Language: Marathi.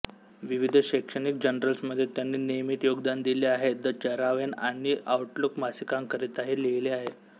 विविध शैक्षणिक जर्नल्समध्ये त्यांनी नियमित योगदान दिले आहे द चरावेन आणि आऊटलुक मासिकांकरिताही लिहिले आहे